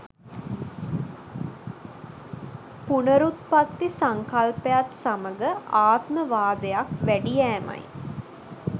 පුනරුත්පත්ති සංකල්පයත් සමඟ ආත්මවාදයක් වැඩි යෑමයි.